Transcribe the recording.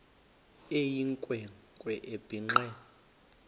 eyinkwe nkwe ebhinqe